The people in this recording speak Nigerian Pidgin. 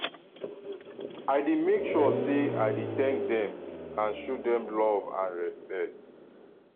i dey make sure say i thank dem and show dem love and respect